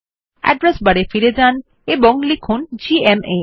address বারে ফিরে যান ও লিখুন জিএমএ